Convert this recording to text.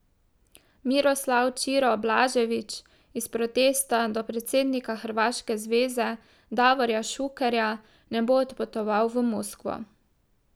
Miroslav Ćiro Blažević iz protesta do predsednika hrvaške zveze Davorja Šukerja ne bo odpotoval v Moskvo.